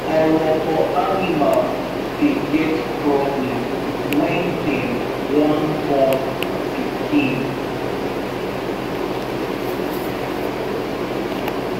orobo animal dey get problem when dem wan born pikin